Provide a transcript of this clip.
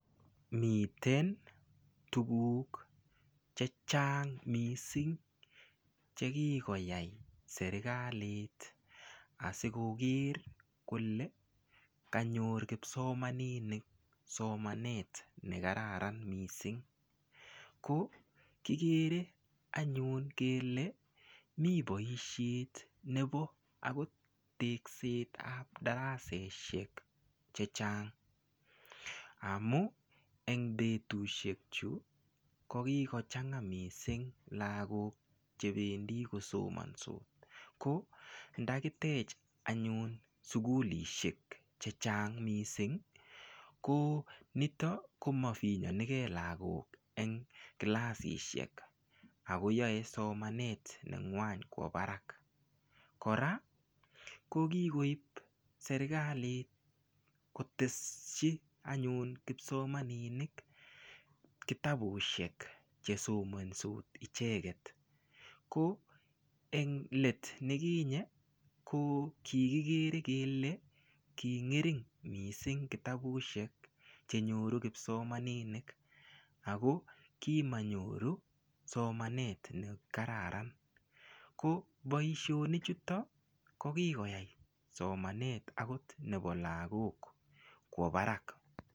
Miten tukuk che chang mising chekikoyai serikalit asikoker kole kanyor kipsomaninik somanet ne kararan mising ko kikere kele mi boishet nebo akot tekset ap daraseshek che chang amu eng betushek chu ko kikochanga mising lakok chebendi kosomonsot ko ndakitech anyun sukulishek che chang mising ko nitok koma finyonikee lakok eng kilasishek ako yoe somanet nengwany kwo barak kora ko kikoip serikalit koteshi anyun kipsomaninik kitabushek chesomansot icheket ko eng letnekinye ko kikikere kele kingering mising kitabushek chenyoru kipsomaninik ako kamanyoru somanet ne kararan ko boishonik chuto ko kikoyai somanet akot nebo lakok kwo barak.